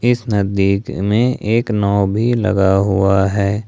इस नदी के में एक नाव भी लगा हुआ है।